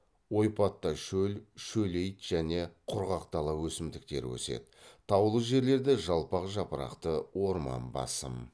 ойпатта шөл шөлейт және құрғақ дала өсімдіктері өседі таулы жерлерде жалпақ жапырақты орман басым